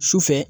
Su fɛ